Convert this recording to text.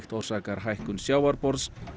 orsaka hækkun sjávarborðs